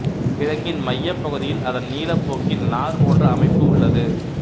கிழங்கின் மையப் பகுதியில் அதன் நீளப் போக்கில் நார் போன்ற அமைப்பு உள்ளது